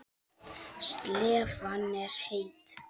Slefan er heit.